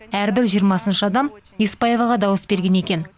әрбір жиырмасыншы адам еспаеваға дауыс берген екен